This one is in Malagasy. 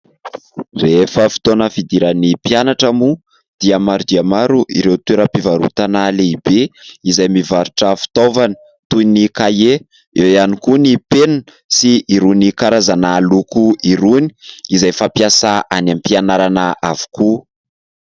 Rehefa fotoana fidiran'ny mpianatra moa maro dia maro ireo toeram-pivarotana lehibe izay mivarotra fitaovana toin' ny : kahie eo ihany koa ny penina sy irony karazana loko irony izay fampiasa any am-pianarana avokoa.